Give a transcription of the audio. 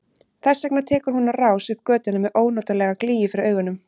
Þess vegna tekur hún á rás upp götuna með ónotalega glýju fyrir augunum.